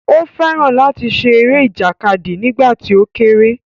Ó fẹ́ràn láti ṣe eré ìjàkadì nígbà tí ó kéré